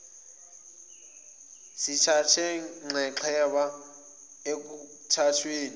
sithathe nxexheba ekuthathweni